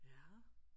Ja